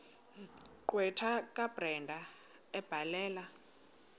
gqwetha kabrenda ebhalela